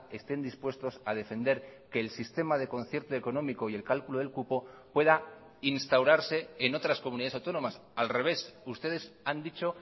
estén dispuestos a defender que el sistema de concierto económico y el cálculo del cupo pueda instaurarse en otras comunidades autónomas al revés ustedes han dicho